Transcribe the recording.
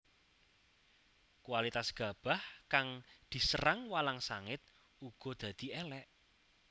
Kualitas gabah kang diserang walang sangit uga dadi élék